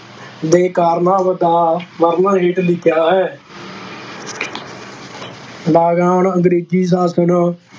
ਦੇ ਕਾਰਨਾਂ ਦਾ ਵਰਣਨ ਹੇਠ ਲਿਖਿਆ ਹੈ ਲਗਾਨ ਅੰਗਰੇਜ਼ੀ ਸ਼ਾਸ਼ਨ